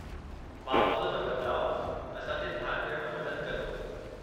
माहौल में बदिलाउ असां जे ध्यानु ॾियण में मदद कंदो।